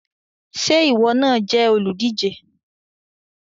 Ṣé ìwọ náà jẹ́ olùdíje?